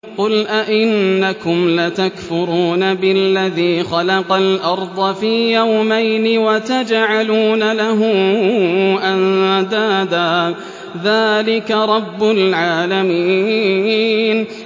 ۞ قُلْ أَئِنَّكُمْ لَتَكْفُرُونَ بِالَّذِي خَلَقَ الْأَرْضَ فِي يَوْمَيْنِ وَتَجْعَلُونَ لَهُ أَندَادًا ۚ ذَٰلِكَ رَبُّ الْعَالَمِينَ